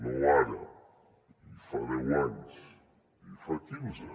no ara fa deu anys i en fa quinze